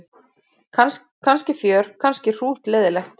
Kannski fjör kannski hrútleiðinlegt.